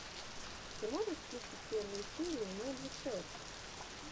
ты можешь включить первую серию мэджик петс